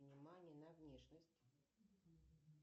внимание на внешность